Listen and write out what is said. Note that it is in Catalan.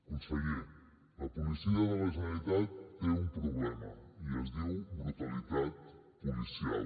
conseller la policia de la generalitat té un problema i es diu brutalitat policial